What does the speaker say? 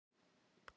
Hann nemur staðar.